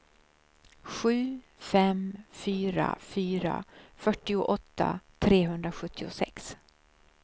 sju fem fyra fyra fyrtioåtta trehundrasjuttiosex